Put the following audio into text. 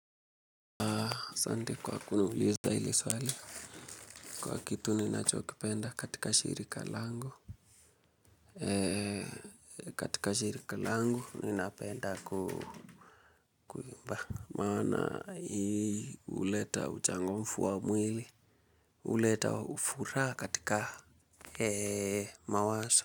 Asante kwa kuniuliza hili swali kwa kitu ninachokipenda katika shirika langu katika shirika langu ninapenda kuimba maana hii huleta utangufu wa mwili huleta furaha katika eee mawazo.